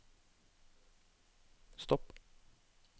stopp